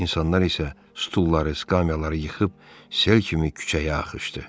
İnsanlar isə stulları, skamyaları yıxıb sel kimi küçəyə axışdı.